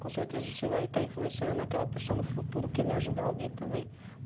Com certeza você vai estar influenciando aquela pessoa no futuro, querer ajudar alguém também.